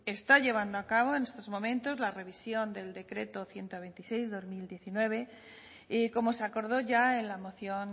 está llevando a cabo en estos momentos la revisión del decreto ciento veintiséis barra dos mil diecinueve y como se acordó ya en la moción